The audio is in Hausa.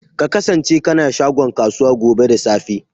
Ka kasance kana shagon kasuwa gobe da safe.